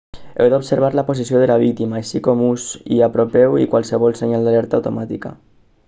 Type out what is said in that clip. heu d'observar la posició de la víctima així com us hi apropeu i qualsevol senyal d'alerta automàtica